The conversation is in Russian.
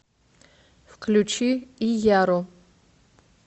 включи ияру